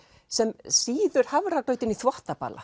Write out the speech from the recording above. sem sýður hafragrautinn í þvottabala